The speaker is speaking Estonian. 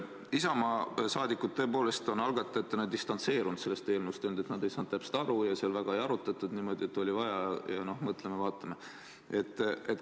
Isamaa saadikud tõepoolest on algatajatena distantseerunud sellest eelnõust ja öelnud, et nad ei saanud asjast täpselt aru ja seda väga ei arutatud, aga oli vaja ja noh, mõtleme-vaatame.